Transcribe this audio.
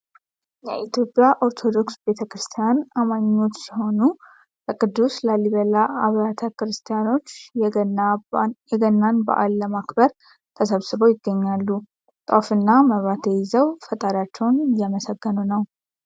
የኢትዮጵያ ኦርቶዶክስ ቤተክርስቲያን አማኞች ሲሆኑ በቅዱስ ላሊበላ አብያተ ቤተክርስቲያኖች የገናን በዓል ለማክበር ተሰብስበው ይገኛሉ። ጧፍና መብራቴ ይዘው ፈጣሪያቸውን እያመሰገኑ ነው።